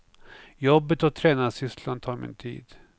Jobbet och tränarsysslan tar min tid.